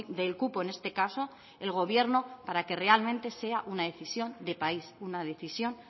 del cupo en este caso el gobierno para que realmente sea una decisión de país una decisión